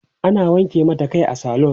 ana wanke mata Kai a saloon